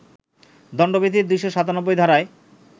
দণ্ডবিধির ২৯৭ ধারায়